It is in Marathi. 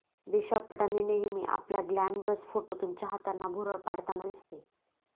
दिशा पटानी नेहमी आपल्या ग्लॅमरस फोटोतून चाहत्यांना भुरळ पाडताना दिसते.